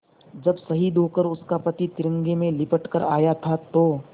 जब शहीद होकर उसका पति तिरंगे में लिपट कर आया था तो